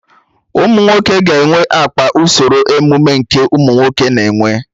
Ụmụnwoke ga-enwe akpa usoro ọmụmụ nke ụmụnwoke na-enwe